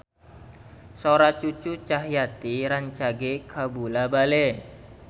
Sora Cucu Cahyati rancage kabula-bale